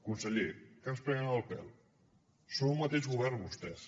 conseller que ens prenen el pèl són un mateix govern vostès